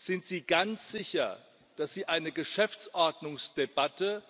Sind Sie ganz sicher, dass Sie eine Geschäftsordnungsdebatte